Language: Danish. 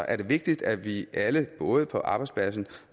er det vigtigt at vi alle både på arbejdspladsen